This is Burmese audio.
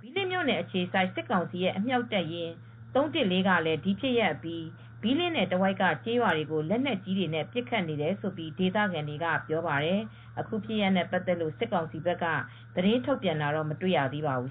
ဘီးလင်းမြို့နယ်အခြေစိုက် စစ်ကောင်စီအမြှောက်တပ်ရင်း ၃၁၄ ကလည်း ဒီဖြစ်ရပ်အပြီး ဘီးလင်းနယ်တဝိုက်က ကျေးရွာတွေကို လက်နက်ကြီးတွေနဲ့ ပစ်ခတ်နေတယ်လို့ ဒေသခံတွေက ပြောပါတယ်။ အခုဖြစ်ရပ်တွေနဲ့ ပတ်သက်လို့ စစ်ကောင်စီဘက်က သတင်းထုတ်ပြန်တာတော့ မတွေ့ရသေးပါဘူး